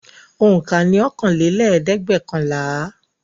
Òǹkà ni ọ̀kanlélẹ́ẹ̀dẹ́gbẹ́ọ̀kànlá.